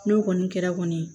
N'o kɔni kɛra kɔni